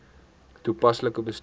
toepaslik bestuur